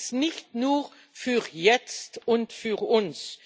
Der ist nicht nur für jetzt und für uns.